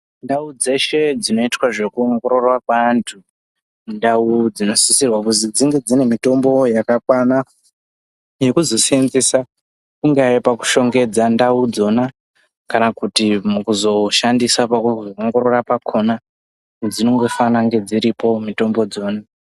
Ndau dzeshe dzinoitwa zvekuongorora kweantu, indau dzinosisirwa kuzi dzinge dzine mitombo yakakwana yekuzoseenzesa kungaye pakushongedza ndau dzona kana Kuti mukuzoshandisa pakuongorora pakona dzinongofana kunge dziripo mitombo dzona.